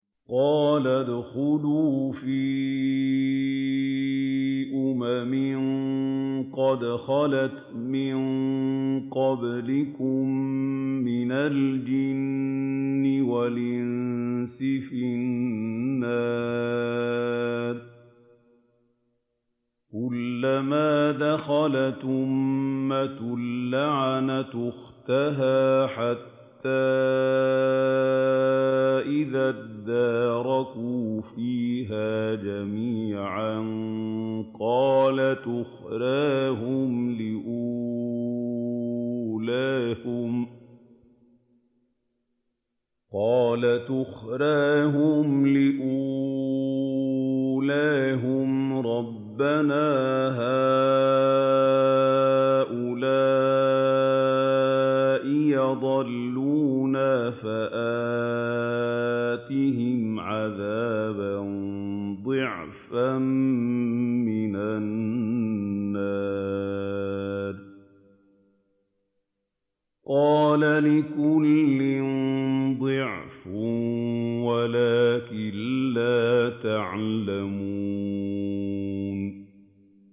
قَالَ ادْخُلُوا فِي أُمَمٍ قَدْ خَلَتْ مِن قَبْلِكُم مِّنَ الْجِنِّ وَالْإِنسِ فِي النَّارِ ۖ كُلَّمَا دَخَلَتْ أُمَّةٌ لَّعَنَتْ أُخْتَهَا ۖ حَتَّىٰ إِذَا ادَّارَكُوا فِيهَا جَمِيعًا قَالَتْ أُخْرَاهُمْ لِأُولَاهُمْ رَبَّنَا هَٰؤُلَاءِ أَضَلُّونَا فَآتِهِمْ عَذَابًا ضِعْفًا مِّنَ النَّارِ ۖ قَالَ لِكُلٍّ ضِعْفٌ وَلَٰكِن لَّا تَعْلَمُونَ